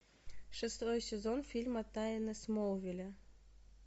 шестой сезон фильма тайны смолвиля